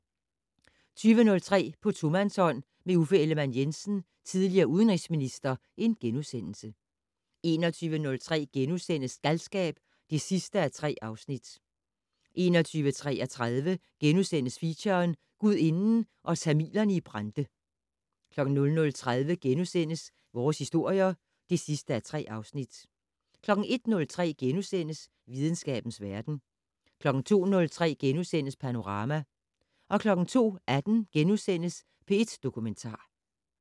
20:03: På tomandshånd med Uffe Ellemann-Jensen, tidl. udenrigsminister * 21:03: Galskab (3:3)* 21:33: Feature: Gudinden og tamilerne i Brande * 00:30: Vores historier (3:3)* 01:03: Videnskabens verden * 02:03: Panorama * 02:18: P1 Dokumentar *